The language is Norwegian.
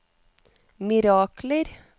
mirakler